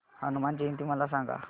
हनुमान जयंती मला सांगा